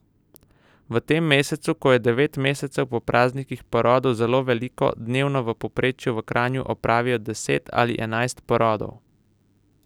V tem mesecu, ko je devet mesecev po praznikih porodov zelo veliko, dnevno v povprečju v Kranju opravijo deset ali enajst porodov.